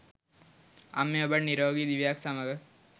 අම්මේ ඔබට නිරෝගි දිවියක් සමග